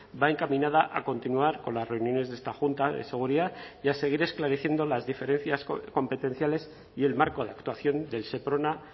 va encaminada a continuar con las reuniones de esta junta de seguridad y a seguir esclareciendo las diferencias competenciales y el marco de actuación del seprona